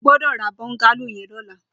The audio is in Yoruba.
Ó gbọdọ rà bọngàló yèn lọ̀lá